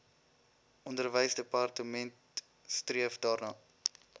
onderwysdepartement streef daarna